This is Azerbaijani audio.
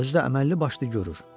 Özü də əməlli başlı görür.